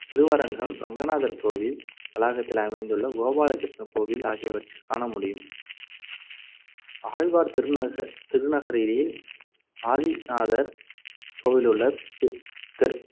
திருவரங்கம் ரங்கநாதர் கோவில் வளாகத்தில் அமைந்துள்ள கோபாலகிருஷ்ண கோவில் ஆகியவற்றில் காணமுடியும் ஆழ்வார் திரு~ திருநகரியில் ஆதிநாதர் கோவிலிலுள்ள தெ~